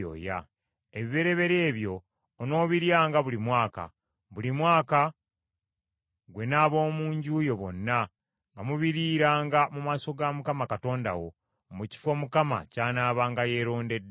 Ebibereberye ebyo onoobiryanga buli mwaka, buli mwaka, ggwe n’ab’omu nju yo bonna, nga mubiriiranga mu maaso ga Mukama Katonda wo, mu kifo Mukama ky’anaabanga yeerondedde.